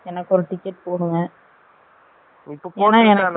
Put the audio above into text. இபொ போட்டரட்டா நானு